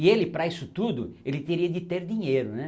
E ele, para isso tudo, ele teria de ter dinheiro, né?